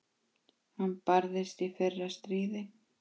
Hann barðist í fyrra stríði.